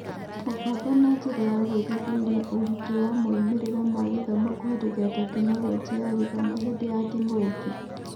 Mũbango na njĩra ya gũĩthuthuria ũritũ wa moimĩrĩra ma gũthoma kũhetũkĩra Tekinoronjĩ ya Githomo hĩndĩ ya kĩng'ũki